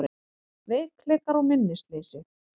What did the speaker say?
Veikleikar og minnisleysi